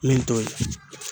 Min t'o ye